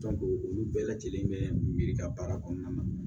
olu bɛɛ lajɛlen bɛ miiri ka baara kɔnɔna na